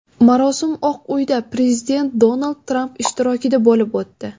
Marosim Oq uyda, prezident Donald Tramp ishtirokida bo‘lib o‘tdi.